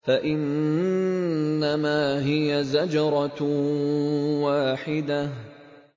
فَإِنَّمَا هِيَ زَجْرَةٌ وَاحِدَةٌ